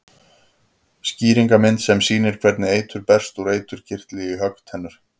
Skýringarmynd sem sýnir hvernig eitur berst úr eiturkirtli í höggtennur.